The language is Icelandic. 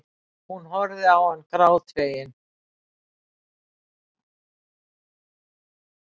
Hún horfir á hann grátfegin.